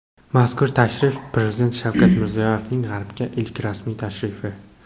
Mazkur tashrif Prezident Shavkat Mirziyoyevning G‘arbga ilk rasmiy tashrifi.